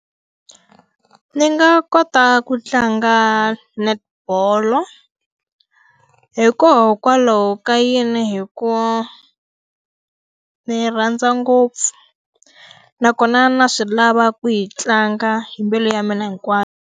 Ni nga kota ku tlanga netball-o hikokwalaho ka yini hi ku ni rhandza ngopfu nakona na swi lava ku yi tlanga hi mbilu ya mina hinkwayo.